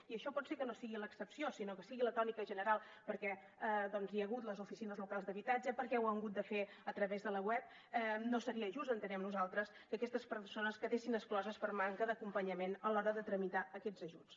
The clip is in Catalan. i això pot ser que no sigui l’excepció sinó que sigui la tònica general perquè doncs hi ha hagut les oficines locals d’habitatge perquè ho han hagut de fer a través de la web no seria just entenem nosaltres que aquestes persones quedessin excloses per manca d’acompanyament a l’hora de tramitar aquests ajuts